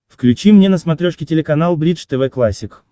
включи мне на смотрешке телеканал бридж тв классик